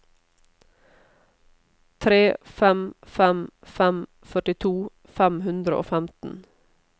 tre fem fem fem førtito fem hundre og femten